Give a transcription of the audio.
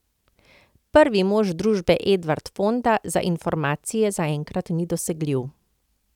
Prvi mož družbe Edvard Fonda za informacije zaenkrat ni dosegljiv.